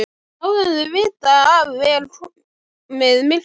Áður en þau vita af er komið myrkur.